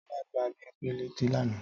Tọ́lá gbá Bímpé létí lánàá